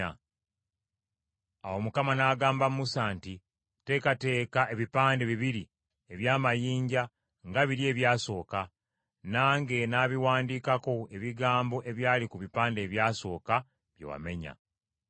Awo Mukama n’agamba Musa nti, “Teekateeka ebipande bibiri eby’amayinja nga biri ebyasooka, nange nnaabiwandiikako ebigambo ebyali ku bipande ebyasooka bye wamenya.